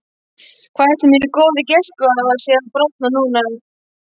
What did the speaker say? Hvað ætli mínir góðu gestgjafar séu að bralla núna?